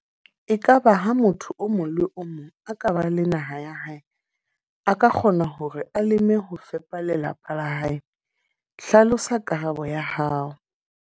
Ekaba ha motho o mong le o mong a ka ba le naha ya hae. A ka kgona hore a leme ho fepa lelapa la hae? Hlalosa karabo ya hao.